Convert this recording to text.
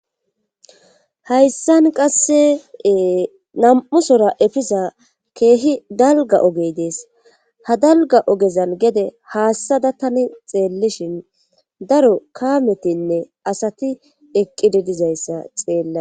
hayssan qasseee nam7usora efisa keehi dalga ogey dees ha dalga ogezan gede haassada tani xeellishin daro kaametinne asati eqqide dizayssa xeella